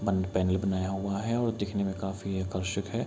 Panel बनाया हुआ है और दिखने में काफी आकर्षक है.